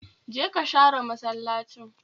Jeka share masallacin